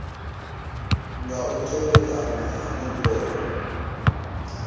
nga u tevhekana ha nomboro